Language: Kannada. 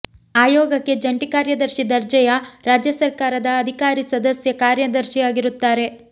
ಆಯೋಗಕ್ಕೆ ಜಂಟಿ ಕಾರ್ಯದರ್ಶಿ ದರ್ಜೆಯ ರಾಜ್ಯ ಸರ್ಕಾರದ ಅಧಿಕಾರಿ ಸದಸ್ಯ ಕಾರ್ಯದರ್ಶಿಯಾಗಿರುತ್ತಾರೆ